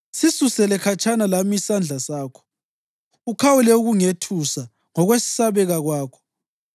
Sisusele khatshana lami isandla sakho, ukhawule ukungethusa ngokwesabeka kwakho.